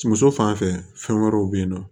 Muso fanfɛ fɛn wɛrɛw bɛ yen nɔ